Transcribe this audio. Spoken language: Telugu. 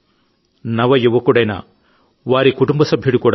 ఆకారణంగానే ఆయన ఆరోగ్యవంతుడై మళ్లీ సాధారణ జీవితాన్ని గడపగలుగుతున్నారు